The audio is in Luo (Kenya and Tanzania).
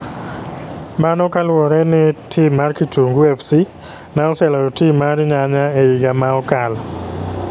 Mano kaluwore ni tim mar Kitungu Fc ne oseloyo tim no mar Nyanya e higa ma okalo